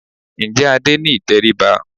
Ǹjẹ́ Adé ní ìtẹríba?